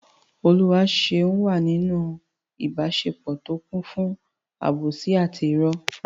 Oluwaseun wà nínú ìbáṣepọ̀ tó kún fún àbòsí àti ìrọ́.